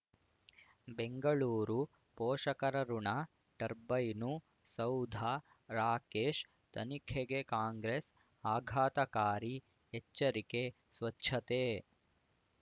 ಬೆಂಗಳೂರು ಪೋಷಕರಋಣ ಟರ್ಬೈನು ಸೌಧ ರಾಕೇಶ್ ತನಿಖೆಗೆ ಕಾಂಗ್ರೆಸ್ ಆಘಾತಕಾರಿ ಎಚ್ಚರಿಕೆ ಸ್ವಚ್ಛತೆ